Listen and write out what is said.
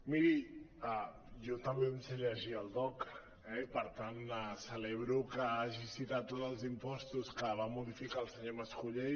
miri jo també em sé llegir el dogc eh i per tant celebro que hagi citat tots els impostos que va modificar el senyor mas·colell